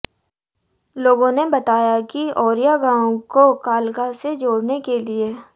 लोगों ने बताया कि ओरियां गांव को कालका से जोड़ने के लिए